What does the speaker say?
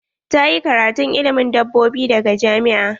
Ta yi karatun ilimin dabbobi daga jami'a.